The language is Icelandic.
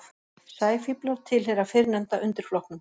Sæfíflar tilheyra fyrrnefnda undirflokknum.